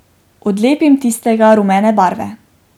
Odlepim tistega rumene barve.